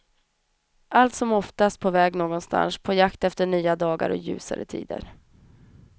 Allt som oftast på väg någonstans, på jakt efter nya dagar och ljusare tider.